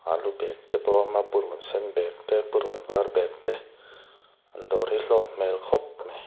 alu bag te pawh a awm a purunsen bag te purun var bag te an dawr hi a hlawk hmel khawp mai.